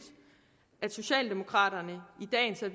at socialdemokraterne